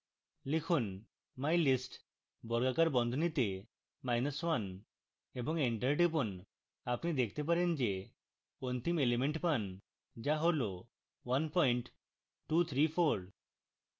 লিখুন mylist বর্গাকার বন্ধনীতে minus one এবং enter টিপুন আপনি দেখতে পারেন যে অন্তিম এলিমেন্ট পান যা হল one point two three four